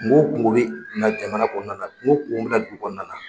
Kunko o kunko bɛ na jamana kɔnɔna na kunko o kunko bɛ na du kɔnɔna na.